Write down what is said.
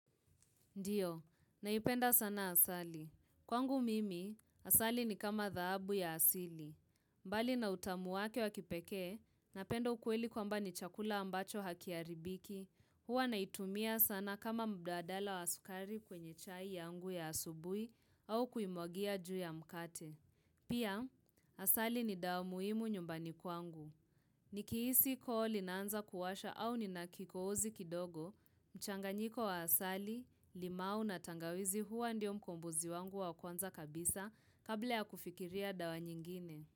Ndiyo, naipenda sana asali. Kwangu mimi, asali ni kama thaabu ya asili. Mbali na utamu wake wakipekee, napenda ukweli kwamba ni chakula ambacho hakiharibiki. Huwa naitumia sana kama mbadala wa sukari kwenye chai yangu ya asubui au kuimwagia juu ya mkate. Pia, asali ni dawa muhimu nyumbani kwangu. Nikihisi koo linaanza kuwasha au nina kikoozi kidogo, mchanganyiko wa asali, limau na tangawizi huwa ndio mkombozi wangu wa kwanza kabisa kabla ya kufikiria dawa nyingine.